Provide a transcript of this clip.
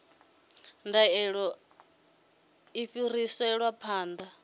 ndaela a i fhiriselwi phanḓa